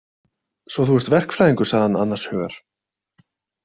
Svo þú ert verkfræðingur, sagði hann annars hugar.